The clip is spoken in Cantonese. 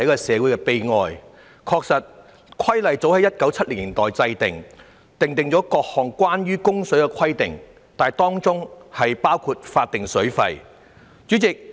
《水務設施規例》早在1970年代制定，訂定了各項關於供水的規定，當中包括法定水費的安排。